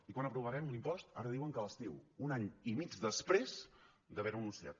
i quan aprovarem l’impost ara diuen que a l’estiu un any i mig després d’haver ho anunciat